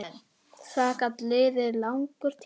Það gat liðið langur tími.